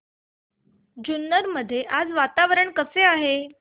जुन्नर मध्ये आज वातावरण कसे आहे